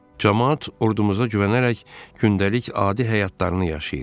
Camaat ordumuza güvənərək gündəlik adi həyatlarını yaşayır.